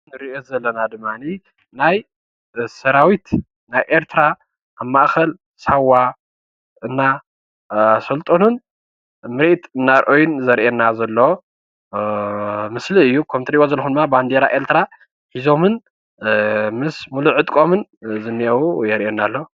ንርኦ ዘለና ድማ ናይ ሰራዊት ናይ ኤርትራ ኣብ ማእከል ሳዋ እናሰልጠኑን ምሪኢት እናርኣዩ ዘሪኤና ዘሎ ምስሊ እዩ። ከምእትሬዎ ዘልኩም ድማ ባንዴራ ኤርትራ ሒዞምን ምስ ሙሉእ ዕጥቆምን ዝንሄው የርኤና ኣሎ።